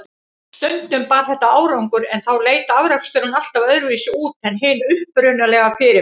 Stundum bar þetta árangur, en þá leit afraksturinn alltaf öðruvísi út en hin upprunalega fyrirmynd.